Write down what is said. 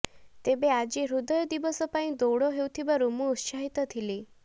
ତେବେ ଆଜି ହୃଦୟ ଦିବସ ପାଇଁ ଦୌଡ଼ ହେଉଥିବାରୁ ମୁଁ ଉତ୍ସାହିତ ଥିଲି